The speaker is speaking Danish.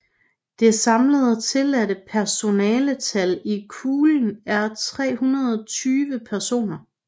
Det samlede tilladte personantal i kuglen er 320 personer